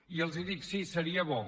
i els dic sí seria bo